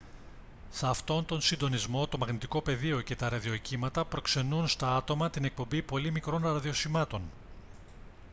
σε αυτόν τον συντονισμό το μαγνητικό πεδίο και τα ραδιοκύματα προξενούν στα άτομα την εκπομπή πολύ μικρών ραδιοσημάτων